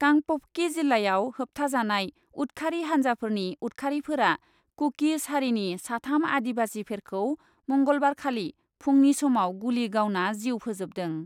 कांपपकि जिल्लायाव होबथाजानाय उतखारि हान्जाफोरनि उतखारिफोरा कु कि ज हारिनि साथाम आदिबासि फेरखौ मंगलबारखालि फुंनि समाव गुलि गावना जिउ फोजोबदों ।